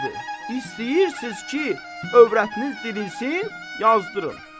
İstəyirsiz ki, övrətiniz dirilsin, yazdırın.